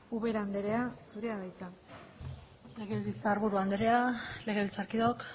ubera andrea zurea da hitza legebiltzarburu andrea legebiltzarkideok